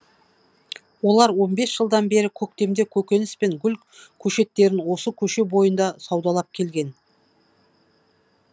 олар лн бес жылдан бері көктемде көкөніс пен гүл көшеттерін осы көше бойында саудалап келген